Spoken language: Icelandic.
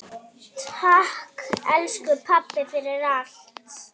Takk, elsku pabbi, fyrir allt.